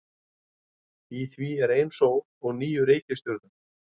Í því er ein sól og níu reikistjörnur.